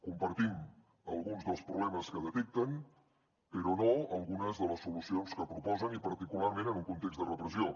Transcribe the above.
compartim alguns dels problemes que detecten però no algunes de les solucions que proposen i particularment en un context de repressió